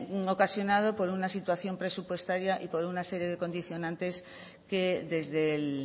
ocasionado por una situación presupuestaria y por una serie de condicionantes que desde el